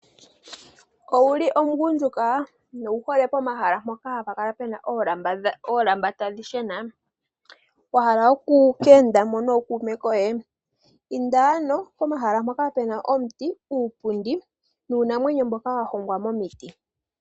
Owuli omugundjuka nowu hole mpoka hapu kala oolamba tadhi shena? Wa hala oku ka enda mo nokuume koye? Inda ano pomahala mpoka pena omuti, uupundi nuunamwenyo mboka wa hongwa momiti.